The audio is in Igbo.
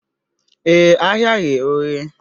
Ee, ahịa ghe oghe